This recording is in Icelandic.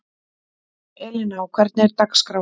Elíná, hvernig er dagskráin?